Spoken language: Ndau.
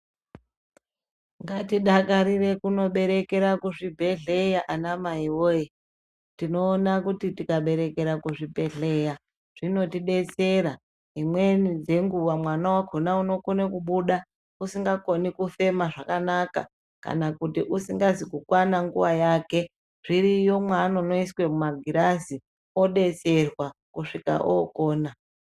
Ngatidakarire kunoberekera kuzvibhehleya anamai woye tinoona kuti tikaberekera kuzvibhehleya zvinotidetsera, imweni dzenguwa mwana wakona unokone kubuda usingakone kufema zvakanaka kana kuti usingazi kukwana nguwa yake zviriyo mwaanonoiswe mumagirazi odetserwa kusvika okona.